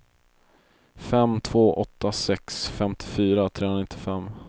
fem två åtta sex femtiofyra trehundranittiofem